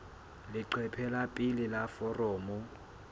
leqephe la pele la foromo